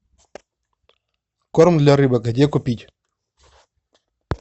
корм для рыбок где купить